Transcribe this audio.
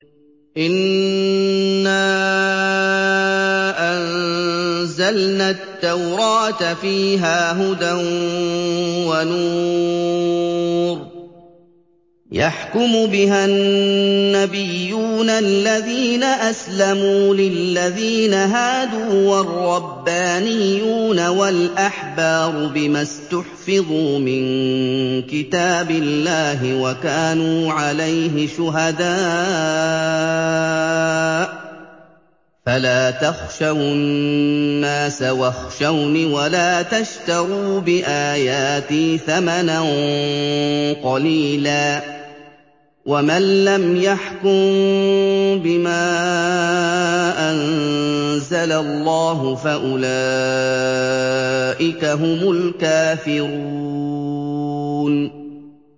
إِنَّا أَنزَلْنَا التَّوْرَاةَ فِيهَا هُدًى وَنُورٌ ۚ يَحْكُمُ بِهَا النَّبِيُّونَ الَّذِينَ أَسْلَمُوا لِلَّذِينَ هَادُوا وَالرَّبَّانِيُّونَ وَالْأَحْبَارُ بِمَا اسْتُحْفِظُوا مِن كِتَابِ اللَّهِ وَكَانُوا عَلَيْهِ شُهَدَاءَ ۚ فَلَا تَخْشَوُا النَّاسَ وَاخْشَوْنِ وَلَا تَشْتَرُوا بِآيَاتِي ثَمَنًا قَلِيلًا ۚ وَمَن لَّمْ يَحْكُم بِمَا أَنزَلَ اللَّهُ فَأُولَٰئِكَ هُمُ الْكَافِرُونَ